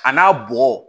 A n'a bɔgɔ